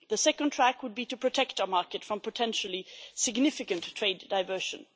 The second track would be to protect our market from potentially significant trade diversion.